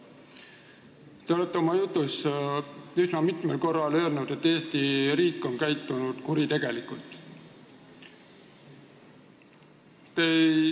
Te olete üsna mitu korda öelnud, et Eesti riik on käitunud kuritegelikult.